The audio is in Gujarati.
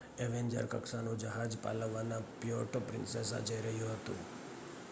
એવેન્જર કક્ષાનું જહાજ પાલવાનના પ્યુર્ટો પ્રિન્સેસા જઈ રહ્યું હતું